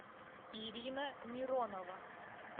ирина миронова